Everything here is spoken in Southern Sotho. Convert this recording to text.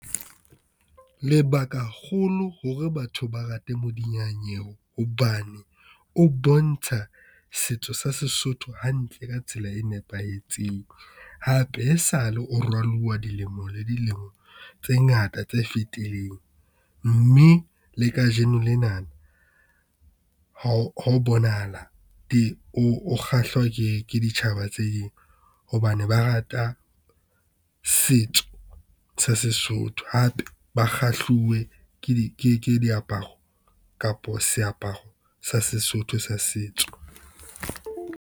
Lebaka holo hore batho ba rate modiyanyewe hobane o bontsha setso sa Sesotho hantle ka tsela e nepahetseng. Hape e sale o rwaluwa dilemo le dilemo tse ngata tse fetileng, mme le kajeno lena ho bonahala o kgahlwa ke ditjhaba tse ding hobane ba rata setso sa Sesotho, hape ba kgahluwe ke diaparo kapa seaparo sa Sesotho sa setso.